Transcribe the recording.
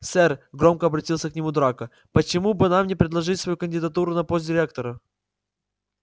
сэр громко обратился к нему драко почему бы нам не предложить свою кандидатуру на пост директора